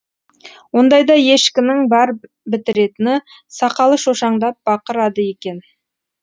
ондайда ешкінің бар бітіретіні сақалы шошаңдап бақырады екен